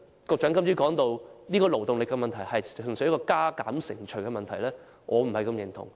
局長今早提到勞動力問題純粹是加減乘除的問題，我對此不太認同。